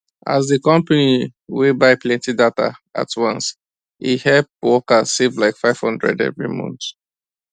as the company wey buy plenty data at once e help workers save like 500 every month